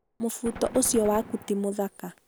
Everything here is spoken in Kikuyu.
Mũbuto ũcio waku ti mũthaka